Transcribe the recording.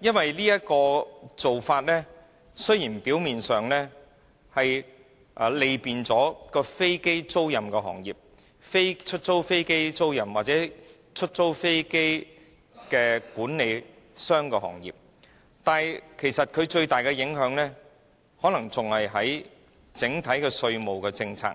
因為現時的做法表面上雖是便利了飛機租賃行業，例如飛機租賃公司或飛機租賃管理公司，但其最大影響其實是在整體稅務政策